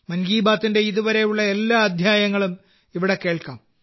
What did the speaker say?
മൻ കി ബാത്തിന്റെ ഇതുവരെയുള്ള എല്ലാ അധ്യായങ്ങളും ഇവിടെ കേൾക്കാം